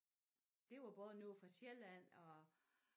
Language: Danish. Der var både nogle fra Sjælland og